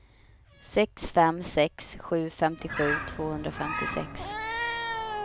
sex fem sex sju femtiosju tvåhundrafemtiosex